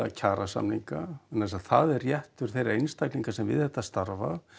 kjarasamninga vegna þess að það er réttur þeirra einstaklinga sem við þetta starfa